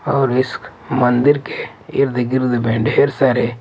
और इस मंदिर के इर्द-गिर्द में ढेर सारे--